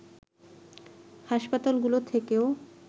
হাসপাতালগুলো থেকেও